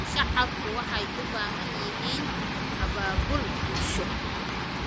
Shacabku waxay u baahan yihiin abaabul bulsho.